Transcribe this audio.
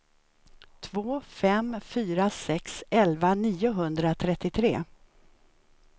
två fem fyra sex elva niohundratrettiotre